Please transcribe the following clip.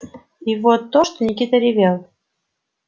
и вот то что никита ревел